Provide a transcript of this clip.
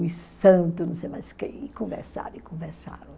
os santos, não sei mais quem, e conversaram, e conversaram.